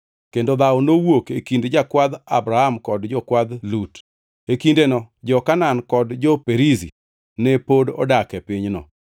Kendo dhawo nowuok e kind jakwadh Abram kod jokwadh Lut. E kindeno jo-Kanaan kod jo-Perizi ne pod odak e pinyno.